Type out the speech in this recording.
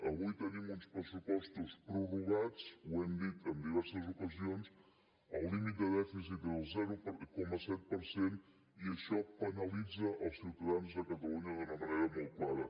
avui tenim uns pressupostos prorrogats ho hem dit en diverses ocasions el límit de dèficit del zero coma set per cent i això penalitza els ciutadans de catalunya d’una manera molt clara